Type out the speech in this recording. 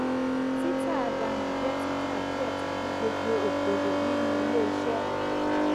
tí tà dànù jẹ títa díẹ tàbí gbogbo okòwò nínú ilé iṣẹ